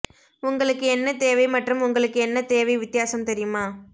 உங்களுக்கு என்ன தேவை மற்றும் உங்களுக்கு என்ன தேவை வித்தியாசம் தெரியுமா